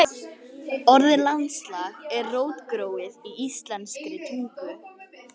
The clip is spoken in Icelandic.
Orðið landslag er rótgróið í íslenskri tungu.